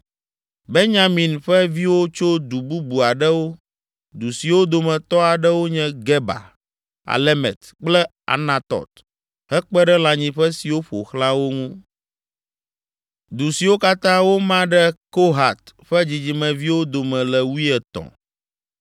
Benyamin ƒe viwo tso du bubu aɖewo, du siwo dometɔ aɖewo nye Geba, Alemet kple Anatɔt hekpe ɖe lãnyiƒe siwo ƒo xlã wo ŋu. Du siwo katã woma ɖe Kohat ƒe dzidzimeviwo dome le wuietɔ̃.